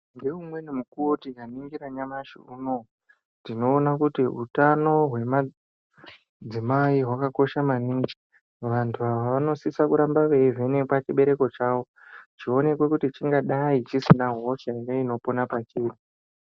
Ngeumweni mukuwo tikaningira nyamashi unou tinoona kuti utano hwemadzimai hwakakosha maningi vandu ava vanosisa kurambe vevhenekwa chibereko chavo kuti chionekwe kuti chingadai chisinahosha ere inopona pachiri.